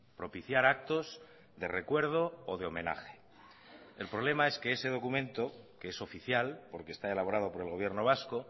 propiciar actos de recuerdo o de homenaje el problema es que ese documento que es oficial porque está elaborado por el gobierno vasco